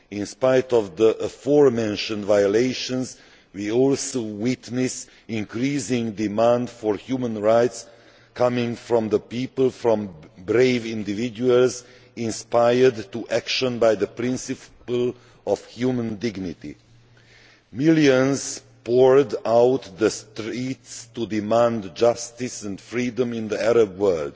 In spite of the aforementioned violations, we also witness increasing demand for human rights coming from the people, from brave individuals, inspired to action by the principle of human dignity. Millions poured out into the streets to demand justice and freedom in the Arab world